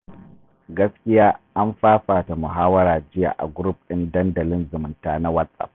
Gaskiya an fafata muhawara a jiya a group ɗin Dandalin Zumunta na Whatsapp.